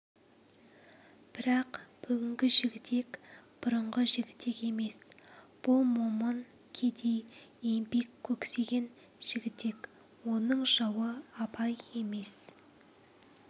бірақ бүгінгі жігітек бұрыңғы жігітек емес бұл момын кедей еңбек көксеген жігітек оның жауы абай емес